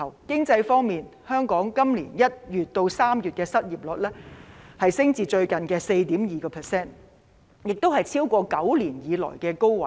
經濟方面，香港今年1月至3月的失業率上升至最近的 4.2%， 打破9年來的紀錄。